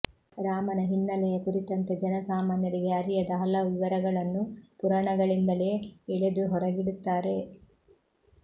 ರಾಮನ ಹಿನ್ನೆಲೆಯ ಕುರಿತಂತೆ ಜನಸಾಮಾನ್ಯರಿಗೆ ಅರಿಯದ ಹಲವು ವಿವರಗಳನ್ನು ಪುರಾಣಗಳಿಂದಲೇ ಎಳೆದು ಹೊರಗಿಡು ತ್ತಾರೆ